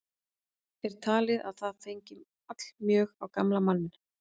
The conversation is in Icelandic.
Er talið að það hafi fengið allmjög á gamla manninn.